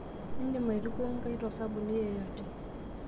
Indim aitukuo inkaik tosabuni yeyote